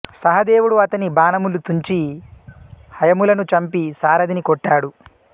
సహదేవుడు అతని బాణములు తుంచి హయములను చంపి సారథిని కొట్టాడు